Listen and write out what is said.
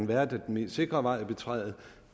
været at den mest sikre vej at betræde